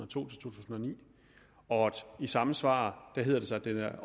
to tusind og ni og i samme svar hedder det sig at det